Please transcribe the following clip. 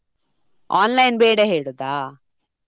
Online ಬೇಡ ಹೇಳುದಾ?